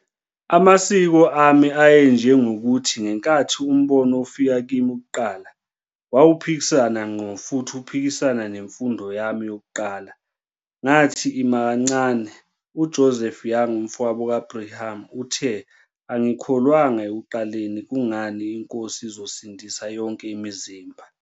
Amasiko ami ayenjengokuthi, ngenkathi uMbono ufika kimi kuqala, wawuphikisana ngqo futhi uphikisana nemfundo yami yakuqala. Ngathi, Ima kancane. UJoseph Young, umfowabo kaBrigham, uthe, "Angikholwanga ekuqaleni. Kungani iNkosi izosindisa yonke imizimba.